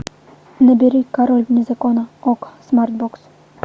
набери король вне закона окко смартбокс